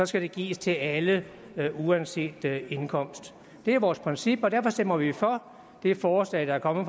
skal det gives til alle uanset indkomst det er vores princip og derfor stemmer vi for det forslag der er kommet